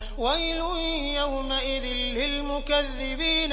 وَيْلٌ يَوْمَئِذٍ لِّلْمُكَذِّبِينَ